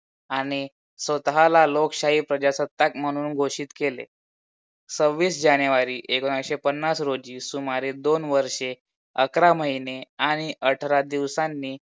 आणि स्वतःला लोकशाही प्रजासत्ताक म्हणून घोषित केले. सव्वीस जानेवारी एकोणीशे पन्नास रोजी सुमारे दोन वर्षे अकरा महिने आणि अठरा दिवसांनी